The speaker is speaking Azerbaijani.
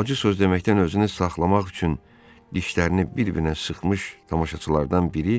Acı söz deməkdən özünü saxlamaq üçün dişlərini bir-birinə sıxmış tamaşaçılardan biri